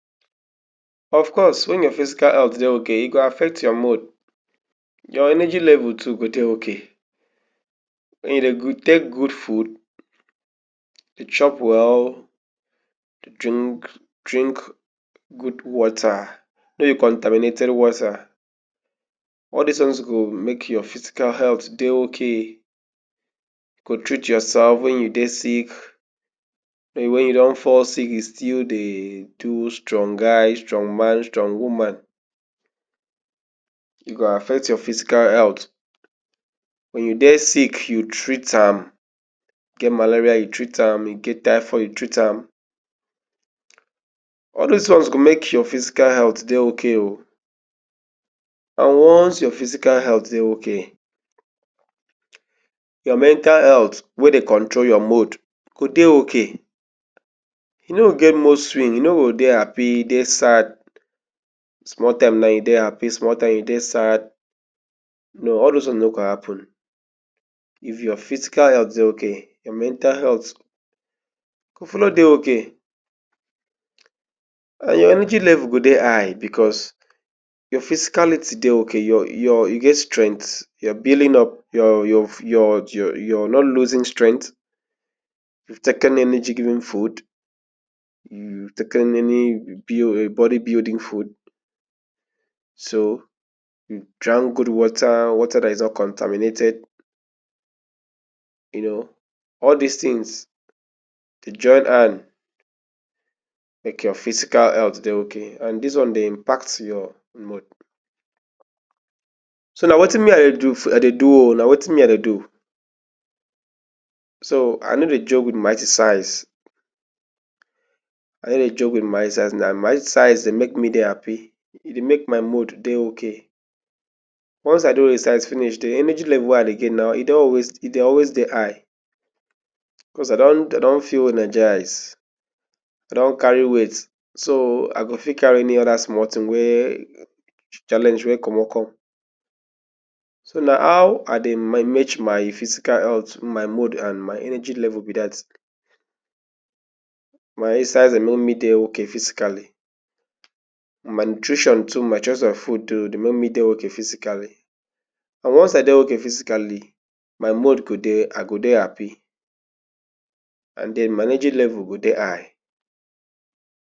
Of course, wen your physical health dey okay, e go affect your mood. Your energy level too go dey okay. You go take good food, chop well, drink good water, no be contaminated water. All dis ones go make your physical health dey okay. You go treat yoursef wen you dey sick. But wen you don fall sick, you still dey do strong guy, strong man, strong woman, you go affect your physical health. Wen you dey sick, you treat am. You get malaria, you treat am. You get typhoid, you treat am. All dis go make your physical health dey okay. And once your physical health dey okay, your mental health wey dey control your mood go dey okay. You no go get mood swing. You no go dey happy dey sad. Small time now, you dey happy, small time you dey sad. No. All dose ones no go happun. If your physical health okay, your mental health go follow dey okay. And your energy level go dey high bicos your physicality dey okay. You get strength. You dey build up. You no dey lose strength. If you take any energy giving food, if you take any body building food, if you drank good water, water wey no be contaminated, you know, all dis tins dey join hand make your physical health dey okay. All dis one dey impact your health. So na wetin me I dey do o. Na wetin I dey do. So I no dey joke wit my exercise. I no dey joke wit my exercise. And my exercise dey make me dey happy. E dey make my mood dey okay. Once I don exercise, di energy level wey I dey get, e dey always dey high, bicos I don feel energise, I don carry weight, so I go fit carry any challenge wey comot come. So na how I dey manage my physical health and my energy level be dat. My exercise dey make me dey okay physically. My nutrition too, my choice of food, dey make me dey okay physically. And once I dey okay physically, my mood go dey, I go dey happy, and den my energy level go dey high.